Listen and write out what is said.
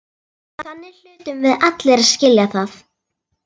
SÉRA SIGURÐUR: Þannig hlutum við allir að skilja það.